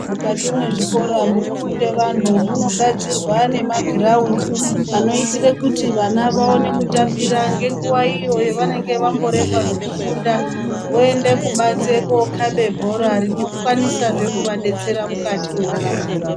Mukati mwe zvikora muno funde vanhu muno gadzirwa ne magiraundi ano itire kuti vana vaone kutambira nge nguva iyo ya vanenge vambo remba zveku funda voende kubanze ko kabe bhora rino kwanisa zve kuva detsera mukati mwe ndaramo dzavo.